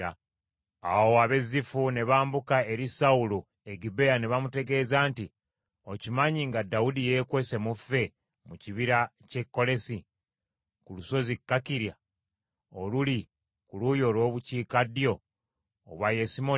Awo ab’e Zifu ne bambuka eri Sawulo e Gibea ne bamutegeeza nti, “Okimanyi nga Dawudi yeekwese mu ffe mu kibira ky’e Kolesi, ku lusozi Kakira oluli ku luuyi olw’obukiikaddyo obwa Yesimoni?